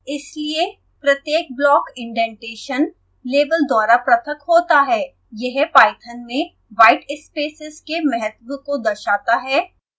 इसलिए प्रत्येक block indentation level द्वारा पृथक होता है